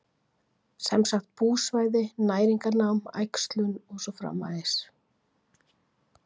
Sem sagt búsvæði, næringarnám, æxlun og svo framvegis?